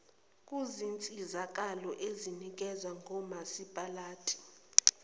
kuzinsizakalo ezinikezwa ngomasipalati